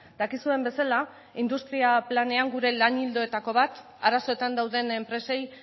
dakizuen bezala industria planean gure lan ildoetako bat arazoetan dauden enpresei